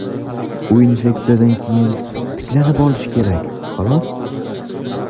U infeksiyadan keyin tiklanib olishi kerak, xolos.